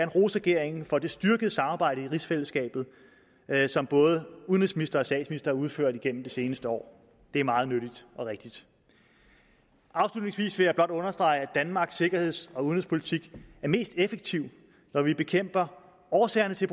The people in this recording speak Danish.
rose regeringen for det styrkede samarbejde i rigsfællesskabet som både udenrigsministeren og udført gennem det seneste år det er meget nyttigt og rigtigt afslutningsvis vil jeg blot understrege at danmarks sikkerheds og udenrigspolitik er mest effektiv når vi bekæmper årsagerne til